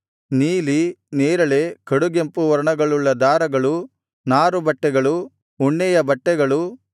ನೀಲಿ ನೇರಳೆ ಕಡುಗೆಂಪು ವರ್ಣಗಳುಳ್ಳ ದಾರಗಳು ನಾರುಬಟ್ಟೆಗಳು ಉಣ್ಣೆಯ ಬಟ್ಟೆಗಳು